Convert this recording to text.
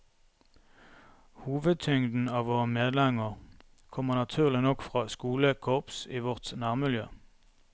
Hovedtyngden av våre medlemmer kommer naturlig nok fra skolekorps i vårt nærmiljø.